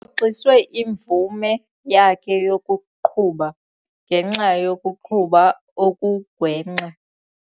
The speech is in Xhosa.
xiswe imvume yakhe yokuqhuba ngenxa yokuqhuba okugwenxa.